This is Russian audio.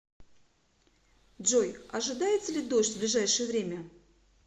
джой ожидается ли дождь в ближайшее время